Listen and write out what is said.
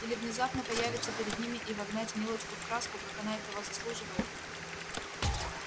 или внезапно появиться перед ними и вогнать милочку в краску как она этого заслуживает